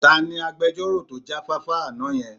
Ta ni agbejọ́rò tó jáfáfá àná yẹn?